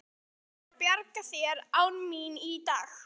Þú verður að bjarga þér án mín í dag.